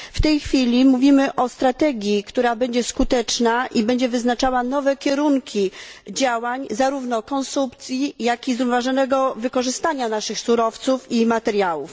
W tej chwili mówimy o skutecznej strategii, która będzie wyznaczała nowe kierunki działań zarówno konsumpcji, jak i zrównoważonego wykorzystania naszych surowców i materiałów.